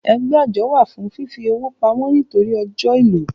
Ẹgbẹ́ àjọ wà fún fífi owó pamọ́ nítorí ọ́jọ ìlò